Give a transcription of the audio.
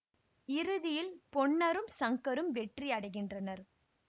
இறுதியில் பொன்னரும் சங்கரும் வெற்றி அடைகின்றனர்